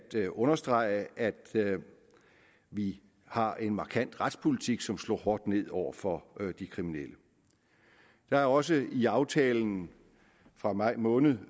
til at understrege at vi har en markant retspolitik som slår hårdt ned over for på de kriminelle der er også i aftalen fra maj måned